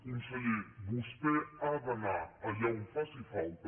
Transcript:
conseller vostè ha d’anar allà on faci falta